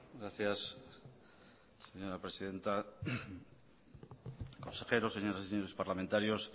gracias señora presidenta consejero señoras y señores parlamentarios